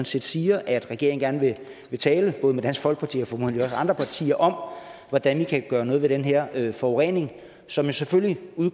set siger at regeringen gerne vil tale både med dansk folkeparti og formodentlig også andre partier om hvordan vi kan gøre noget ved den her forurening som selvfølgelig